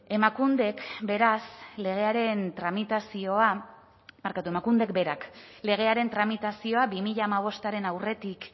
emakundek berak legearen tramitazioa bi mila hamabostaren aurretik